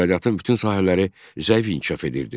İqtisadiyyatın bütün sahələri zəif inkişaf edirdi.